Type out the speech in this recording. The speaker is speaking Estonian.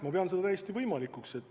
Ma pean seda täiesti võimalikuks.